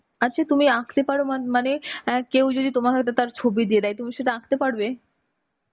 আচ্ছা, তুমি আঁকতে পারো মা~মানে, আ কেউ যদি তোমার হয়তো ছবি দিয়ে দেয় তাহলে তুমি সেটা আঁকতে পারবে?